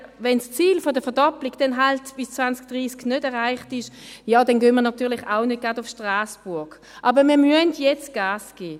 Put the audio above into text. Wenn das Ziel der Verdoppelung dann halt bis 2030 nicht erreicht ist, ja dann gehen wir natürlich auch nicht gerade nach Strasbourg, aber wir müssen jetzt Gas geben.